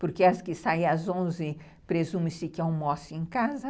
Porque as que saem às onze, presume-se que almoçam em casa.